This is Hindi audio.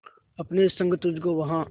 अपने संग तुझको वहां